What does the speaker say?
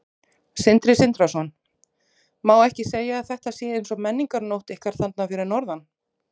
Sindri Sindrason: Má ekki segja að þetta sé eins konar menningarnótt ykkar þarna fyrir norðan?